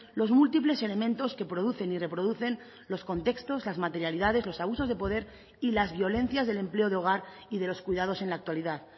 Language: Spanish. los múltiples elementos que producen y reproducen los contextos las materialidades los abusos de poder y las violencias del empleo de hogar y de los cuidados en la actualidad